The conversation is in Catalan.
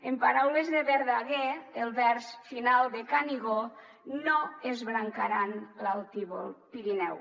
en paraules de verdaguer el vers final de canigó no esbrancaran l’altívol pirineu